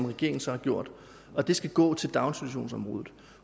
regeringen så har gjort og de skal gå til daginstitutionsområdet